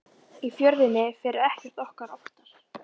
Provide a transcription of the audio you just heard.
Í Fjörðinn fer ekkert okkar oftar.